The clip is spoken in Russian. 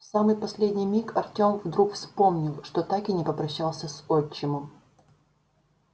в самый последний миг артём вдруг вспомнил что так и не попрощался с отчимом